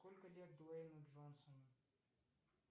сколько лет дуэйну джонсону